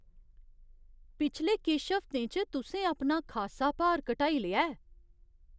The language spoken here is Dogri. पिछले किश हफ्तें च तुसें अपना खासा भार घटाई लेआ ऐ!